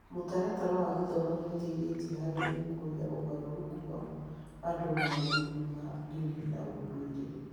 Mũtaratara wa gĩthomo nĩ ũteithĩtie harĩ gũkũria ũgarũrũku wa andũ maũndũ-inĩ ma ndini na ũndũire.